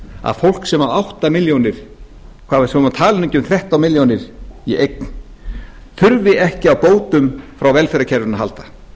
að fólk sem á átta milljónir svo maður tali nú ekki um þrettán milljónir í eign þurfi ekki á bótum frá velferðarkerfinu að halda